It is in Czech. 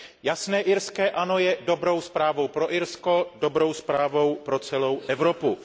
Jasné irské ano je dobrou zprávou pro Irsko, dobrou zprávou pro celou Evropu.